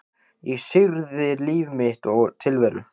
Ég syrgði líf mitt og tilveru.